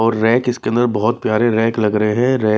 और रैक इसके अंदर बहुत प्यारे रैक लग रहे हैंरै--